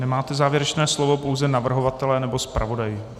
Nemáte závěrečné slovo, pouze navrhovatelé nebo zpravodaj.